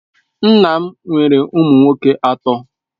Nna m nwere ụmụ nwoke atọ.